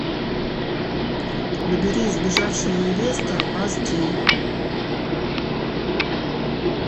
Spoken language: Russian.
набери сбежавшая невеста аш ди